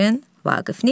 Vaqif neyləsin?